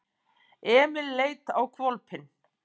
Emil leit á hvolpinn.